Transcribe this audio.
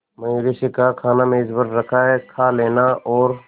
मयूरी से कहा खाना मेज पर रखा है कहा लेना और